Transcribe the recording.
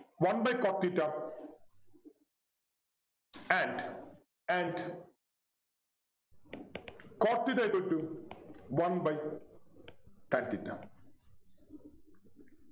one by cot theta and and cot theta equal to one by tan theta